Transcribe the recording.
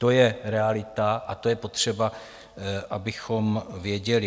To je realita a to je potřeba, abychom věděli.